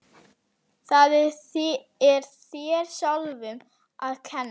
Það er þér sjálfum að kenna.